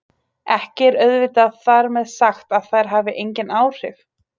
Ekki er auðvitað þar með sagt að þær hafi engin áhrif!